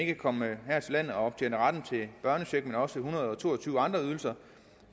kan komme her til landet og optjene retten til børnecheck men også til en hundrede og to og tyve andre ydelser